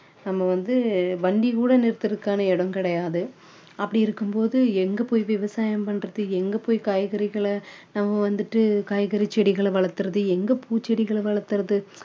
நம்ம வந்து வண்டி கூட நிருத்துறதுக்கான இடம் கிடையாது அப்படி இருக்கும் போது எங்க போய் விவசாயம் பண்றது எங்க போய் காய்கறிகளை நம்ம வந்துட்டு காய்கறி செடிகளை வளர்க்கிறது எங்க பூ செடிகளை வளர்க்கிறது